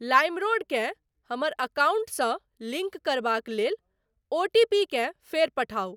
LimeRoad केँ हमर अकाउंटसँ लिंक करबाक लेल ओटीपीकेँ फेर पठाउ।